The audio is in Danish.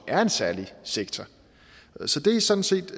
er en særlig sektor så det er sådan set